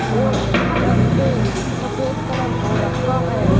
और छत पे सफेद कलर हो रखा है।